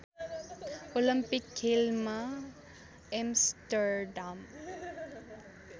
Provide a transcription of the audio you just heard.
Olympic खेलमा Amsterdam